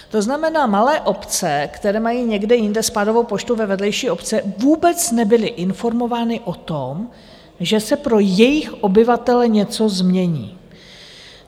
To znamená, malé obce, které mají někde jinde spádovou poštu, ve vedlejší obci, vůbec nebyly informovány o tom, že se pro jejich obyvatele něco změní.